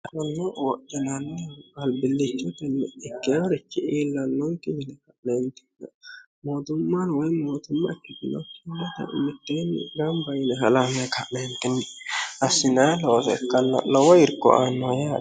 konni wodhinanni albillichote ikkinorichi iillannonke yine mootumma woyi mootumma ikkitinokki mitteenni gamba yine halamma ka'neentinni assinanni looso ikkanna lowo irko aannoho yate.